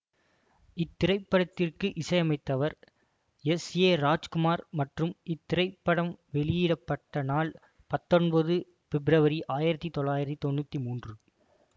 இத்திரைப்படத்திற்கு இசையமைத்தவர் S A Rajkumar மற்றும் இத்திரைப்படம் வெளியிட பட்ட நாள் பத்தொன்பது பிப்ரவரி ஆயிரத்தி தொள்ளாயிரத்தி தொன்னூற்தி மூன்று